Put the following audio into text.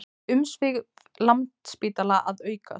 Umsvif Landspítala að aukast